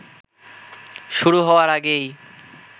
শুরু হওয়ার আগেই